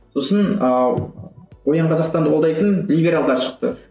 сосын ыыы оян қазақстанды қолдайтын либералдар шықты